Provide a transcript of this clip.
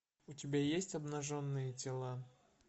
у тебя есть обнаженные тела